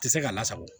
Tɛ se k'a lasago